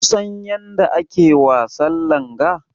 Kusan yadda ake wasan langa?